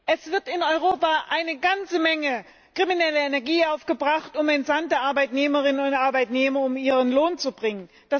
Es wird in Europa eine ganze Menge krimineller Energie aufgebracht, um entsandte Arbeitnehmerinnen und Arbeitnehmer um ihren Lohn zu bringen.